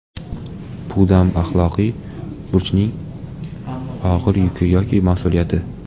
Pudam Axloqiy burchning og‘ir yuki yoki mas’uliyati.